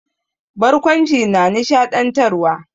Barkwanci na nishaɗantarwa.